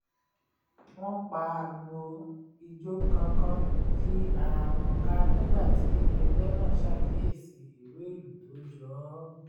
wọ́n pagbo ijó kánkán yí ara wọn ká nígbà tí ẹgbẹ́ náà ṣàkíyèsí ìro ìlù tó jọ ọ́